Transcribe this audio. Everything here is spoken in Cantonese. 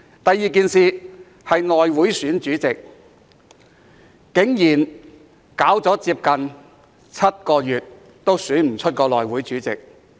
第二，是內務委員會選舉主席，竟然搞了接近7個月仍未能選出內會主席。